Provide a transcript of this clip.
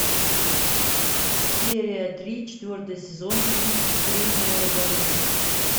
серия три четвертый сезон фильм кремниевая долина